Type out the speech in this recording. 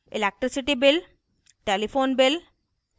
electricity bill telephone bill